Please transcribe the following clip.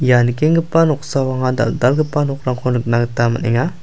ia nikenggipa noksao anga dal·dalgipa nokrangko nikna gita man·enga.